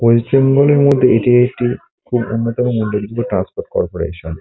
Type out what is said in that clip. পশ্চিমবঙ্গের মধ্যে এটি একটি অন্যতম মন্দির ট্রান্সপোর্ট করপোরেশন ।